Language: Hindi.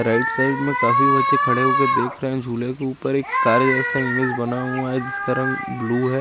राईट साइड में काफी बच्साचे खड़े हुए देख रहे है जुले के ऊपर एक करे जेसा इमेज बना हुआ है जिसका रंग ब्लू है।